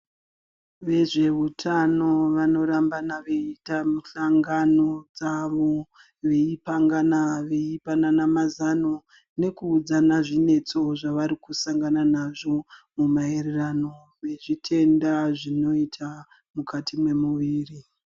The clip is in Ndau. Vezveutano vanorambana veiita muhlangano dzavo. Veipangana veipanana mazano nekuudzana zvinetso zvavari kusangana nazvo mumaererano nezvitenda zvinoita mukati memuviri.